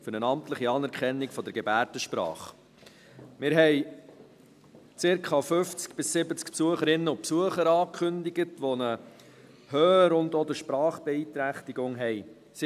Für eine amtliche Anerkennung der Gebärdensprache» Wir haben circa 50 bis 70 Besucherinnen und Besucher angekündigt, welche eine Hör- oder Sprachbeeinträchtigung haben.